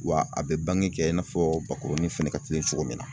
Wa a bɛ bange kɛ i n'a fɔ ba kurunin fɛnɛ ka teli cogo min na.